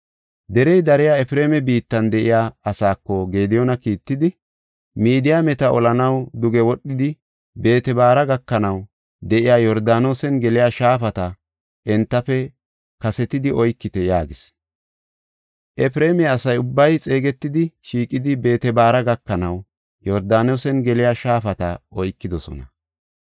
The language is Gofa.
Derey dariya Efreema biittan de7iya asaako Gediyooni kiittidi, “Midiyaameta olanaw duge wodhidi Beet-Baara gakanaw de7iya Yordaanosen geliya shaafata entafe kasetidi oykite” yaagis. Efreema asa ubbay xeegetidi, shiiqidi Beet-Baara gakanaw Yordaanosen geliya shaafata oykidosona.